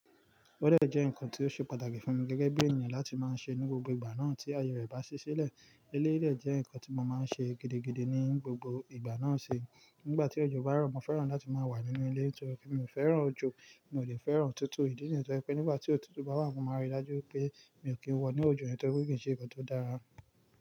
Ọ́dẹ̀ jẹ́ nǹkan tí ó ṣe pàtàkì fún mi gẹ́gẹ́ bí ènìyàn láti máa ń ṣe ní gbogbo ìgbà náà tí ayé rẹ̀ bá ṣi silẹ̀. Eléyii de jẹ́ nǹkan tí mo máa ń ṣe gidigidi ní gbogbo ìgbà náà ṣe. Nígbà tí òjò bá rọ̀, mo fẹ́ràn láti máa wà nínú ilé torí mi ò fẹ́ràn òjò, mi ò lè fẹ́ràn òtútù. Ídí nìyẹn torí pé nígbà tí òtútù bá wà, mo máa rí i dájú pé mi ò kí ń wọ̀ ní òjò torí kì í ṣe nǹkan tó dára.